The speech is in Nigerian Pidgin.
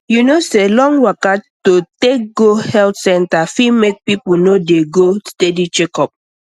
you know say long waka to take go health center fit make people no dey go steady checkup